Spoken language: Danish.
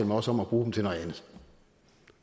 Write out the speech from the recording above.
med os om at bruge dem til noget andet